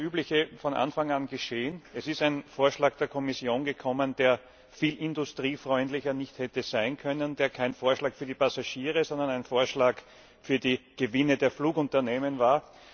Denn es ist von Anfang an das Übliche geschehen Es ist ein Vorschlag der Kommission gekommen, der viel industriefreundlicher nicht hätte sein können, der kein Vorschlag für die Passagiere, sondern ein Vorschlag für die Gewinne der Flugunternehmen war.